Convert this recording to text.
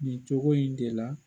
Nin cogo in de la